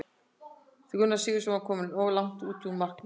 Gunnar Sigurðsson var kominn of langt út úr markinu.